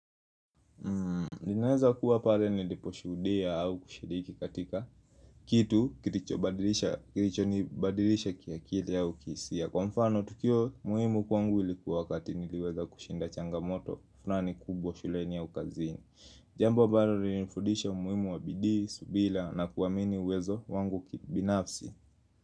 Ninaweza kuwa pale nilipo shuhudia au kushiriki katika kitu, kiricho kiricho ni badirisha kiakili au kihisia Kwa mfano, tukio muhimu kwangu ilikuwa wakati niliweza kushinda changamoto, fulani kubwa shuleni au kazini Jambo ambaro ririnifudisha muhimu wa bidii, subira na kuwamini uwezo wangu kibinafsi.